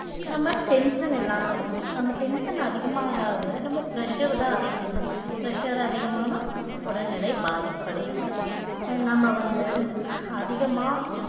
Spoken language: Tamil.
நம்ம tension இல்லாம இருக்கணும் நம்ம tension அதிகமா ஆக ஆக நம்ம pressure தான் pressure அதிகமானா உடல்நிலை பாதிப்படையும் அஹ் நம்ம வந்து அதிகமா